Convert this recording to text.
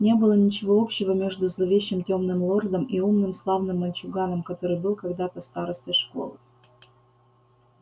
не было ничего общего между зловещим тёмным лордом и умным славным мальчуганом который был когда-то старостой школы